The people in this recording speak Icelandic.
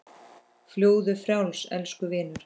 Fljúgðu frjáls, elsku vinur.